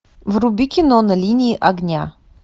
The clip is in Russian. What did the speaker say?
вруби кино на линии огня